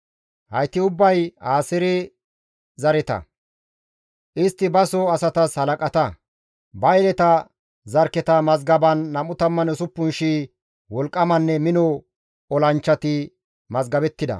Hayti ubbay Aaseere zareta; istti baso asatas halaqata; ba yeleta zarkketa mazgaban 26,000 wolqqamanne mino olanchchati mazgabettida.